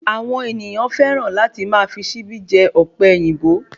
Àwọn ènìyàn féràn láti máa fi síbí jẹ Ọ̀pẹ̀yìnbó won